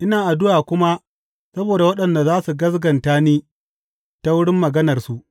Ina addu’a kuma saboda waɗanda za su gaskata da ni ta wurin maganarsu.